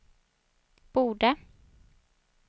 borde